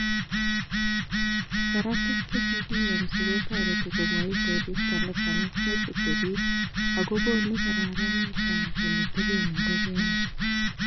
Saratik che kakiyamsii kotere komoe koristo nesamis nechechebik, ak kokonu kokararanit ele teben ingogenik.